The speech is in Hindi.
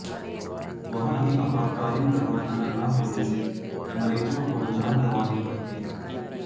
वहां भी आपातकालीन दवाखाना न होने से मरीजों को जान गंवानी पड़ती है